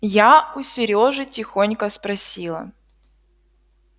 я у серёжи тихонько спросила